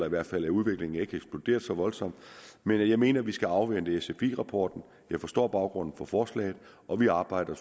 i hvert fald er udviklingen ikke eksploderet så voldsomt men jeg mener at vi skal afvente sfi rapporten jeg forstår baggrunden for forslaget og vi arbejder